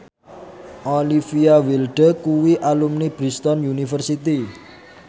Olivia Wilde kuwi alumni Bristol university